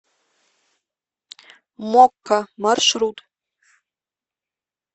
мокка маршрут